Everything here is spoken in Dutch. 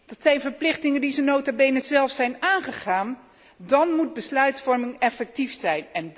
dat zijn verplichtingen die ze nota bene zelf zijn aangegaan dan moet besluitvorming effectief zijn.